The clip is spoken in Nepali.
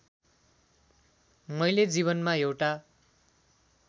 मैले जीवनमा एउटा